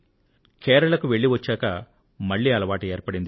కేరళకు వెళ్లి వచ్చాక మళ్లీ అలవాటు ఏర్పడింది